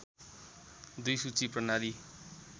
२ सूची प्रणाली